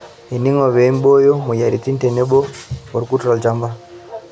Eningo pee imbooyo moyiaritin tenebo ilkurt tolchamba.